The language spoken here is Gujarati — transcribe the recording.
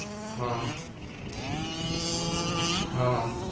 હા હા હા